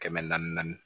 Kɛmɛ naani naani naani